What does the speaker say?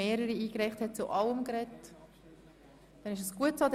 Haben alle zu allen Aspekten sprechen können?